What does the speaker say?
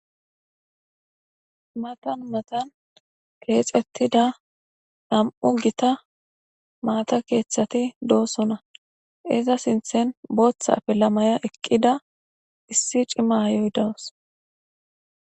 matan matan keexettida nam"u gita maata keeththati doosona. iza sinthen booththa pilamaya eqqida issi cimayoy dawus.